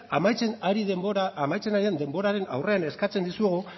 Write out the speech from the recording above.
amaitzen ari den denboraren aurrean eskatzen dizuegu